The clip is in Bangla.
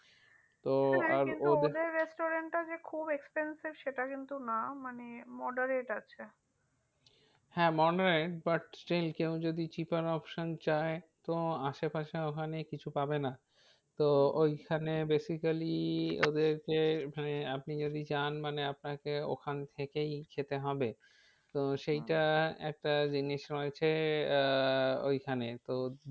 তো ওইখানে basically ওদেরকে মানে আপনি যদি যান মানে আপনাকে ওখান থেকেই খেতে হবে। তো সেইটা একটা জিনিস রয়েছে আহ ওইখানে তো